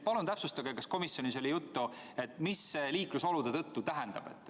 Palun täpsustage, kas komisjonis oli juttu, mida see „liiklusolude tõttu“ tähendab.